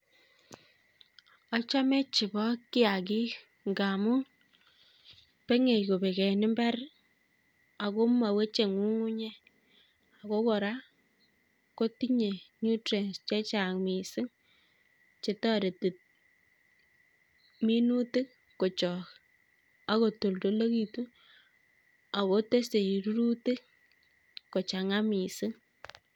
achome chebo kiagik ng'amun beng'e kobek en imbar ako moweche ny'uny'unyek, ako kora ko tinye nutrients chechang' missing chetoreti minutik kochok, akotoldolekitun ako tesei rurutik kochang'a missing.